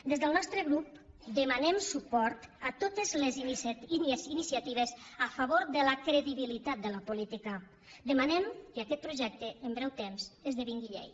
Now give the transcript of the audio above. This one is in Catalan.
des del nostre grup demanem suport a totes les iniciatives a favor de la credibilitat de la política demanem que aquest projecte en breu temps esdevingui llei